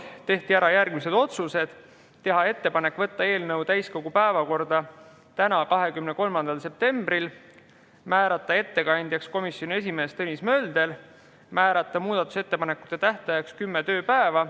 Tehti järgmised otsused: teha ettepanek võtta eelnõu täiskogu päevakorda tänaseks, 23. septembriks, määrata ettekandjaks komisjoni esimees Tõnis Mölder, määrata muudatusettepanekute tähtajaks 10 tööpäeva.